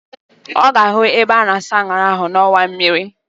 Ọ ga-ahụ ebe a na-asa aṅara ahụ n'ọnwa mmiri